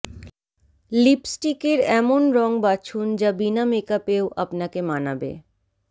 লিপস্টিকের এমন রঙ বাছুন যা বিনা মেকআপেও আপনাকে মানাবে